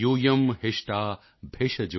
ਅੰਮ੍ਰਿਤਕਮ ਧਾਤ ਟੋਕੇ ਤਨਾਯਾਯਾ ਸ਼ਿਆਮਯੋ